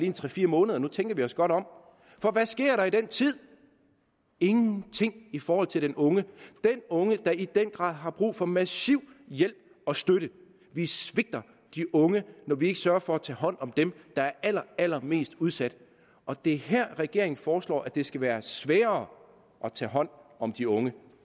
en tre fire måneder nu tænker vi os godt om for hvad sker der i den tid ingenting i forhold til den unge unge der i den grad har brug for massiv hjælp og støtte vi svigter de unge når vi ikke sørger for at tage hånd om dem der er allerallermest udsat og det er her regeringen foreslår at det skal være sværere at tage hånd om de unge